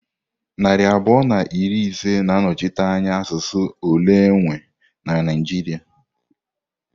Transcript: Narị abụọ na iri ise na-anọchite anya asụsụ ole enwe na Naịjirịa.